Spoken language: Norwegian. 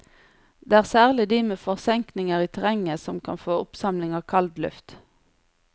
Det er særlig de med forsenkninger i terrenget som kan få oppsamling av kaldluft.